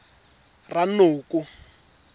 ranoko